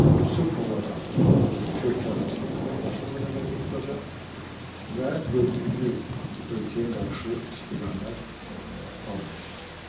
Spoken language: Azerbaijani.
Bu sırf olaraq üç ölkə arasında əməkdaşlığı nəzərdə tutacaq və dördüncü ölkəyə qarşı istiqamət almayacaqdır.